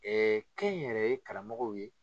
kɛnyɛrɛye karamɔgɔw ye